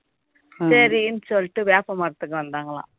சரின்னு சொல்லிட்டு வேப்ப மரத்துக்கு வந்தாங்களாம்